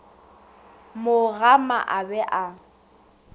mo gama a be a